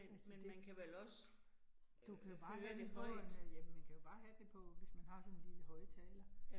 Altså det, du kan bare høre det på den, jamen man kan bare have den på, hvis man har sådan en lille højttaler